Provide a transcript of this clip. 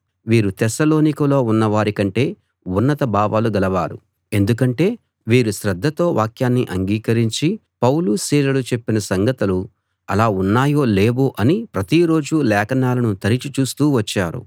వీరు తెస్సలోనికలో ఉన్నవారి కంటే ఉన్నత భావాలు గలవారు ఎందుకంటే వీరు శ్రద్ధతో వాక్యాన్ని అంగీకరించి పౌలు సీలలు చెప్పిన సంగతులు అలా ఉన్నాయో లేవో అని ప్రతి రోజూ లేఖనాలను తరచి చూస్తూ వచ్చారు